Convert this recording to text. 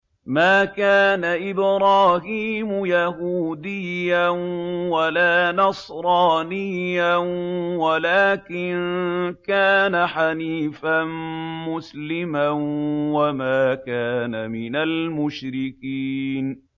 مَا كَانَ إِبْرَاهِيمُ يَهُودِيًّا وَلَا نَصْرَانِيًّا وَلَٰكِن كَانَ حَنِيفًا مُّسْلِمًا وَمَا كَانَ مِنَ الْمُشْرِكِينَ